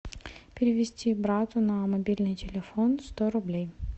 перевести брату на мобильный телефон сто рублей